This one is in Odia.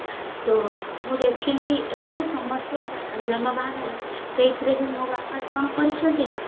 ତ ମୁଁ ଦେଖିଲି ଏତେ ସମସ୍ୟା ଯାନ ବାହନରେ ସେଇଥିରେ ବି ମୋ ବାପା କଣ କରିଚନ୍ତି ନା